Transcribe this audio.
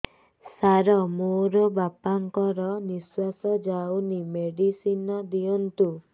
ସାର ମୋର ବାପା ଙ୍କର ନିଃଶ୍ବାସ ଯାଉନି ମେଡିସିନ ଦିଅନ୍ତୁ